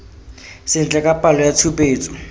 sentle ka palo ya tshupetso